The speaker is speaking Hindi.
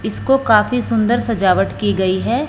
इसको काफी सुंदर सजावट की गई है।